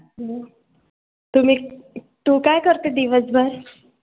हं तुम्ही तू काय करते दिवसभर?